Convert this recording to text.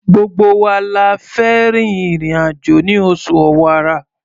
Gbogbo wa la fẹ́ rin ìrìn-àjò ní oṣù Ọ̀wàrà.